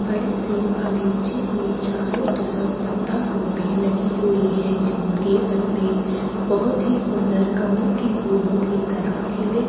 बड़े से बागीचे में चारों तरफ पत्ता गोभी लगी हुई है जिनके पत्ते बहुत ही सुंदर कमल की फूलों की तरह खिले --